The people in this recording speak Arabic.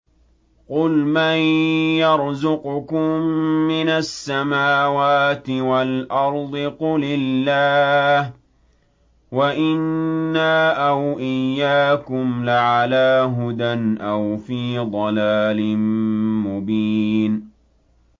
۞ قُلْ مَن يَرْزُقُكُم مِّنَ السَّمَاوَاتِ وَالْأَرْضِ ۖ قُلِ اللَّهُ ۖ وَإِنَّا أَوْ إِيَّاكُمْ لَعَلَىٰ هُدًى أَوْ فِي ضَلَالٍ مُّبِينٍ